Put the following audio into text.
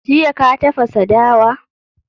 Jiya ka tafasa dawa?